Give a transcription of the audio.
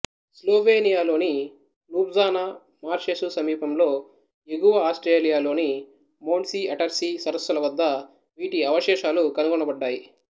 స్లోవేనియాలోని Ljubljana marshes సమీపంలో ఎగువ ఆస్ట్రియాలోని మోండ్సీ అటర్సీ సరస్సుల వద్ద వీటి అవశేషాలు కనుగొనబడ్డాయి